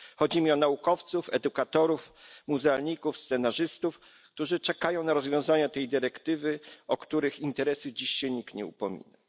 Chodzi mi o naukowców, edukatorów, muzealników, scenarzystów, którzy czekają na rozwiązania z tej dyrektywy, ale o których interesy dzisiaj nikt się nie upomina.